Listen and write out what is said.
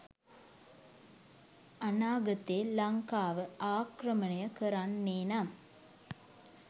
අනාගතේ ලංකාව ආක්‍රමණය කරන්නේනම්